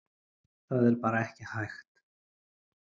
Það er bara ekki hægt